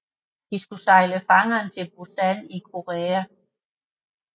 De skulle sejle fangerne til Busan i Korea